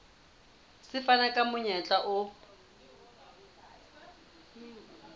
se fana ka monyetla o